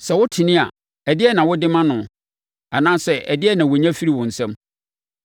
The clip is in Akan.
Sɛ wotene a, ɛdeɛn na wode ma noɔ anaasɛ ɛdeɛn na ɔnya firi wo nsam?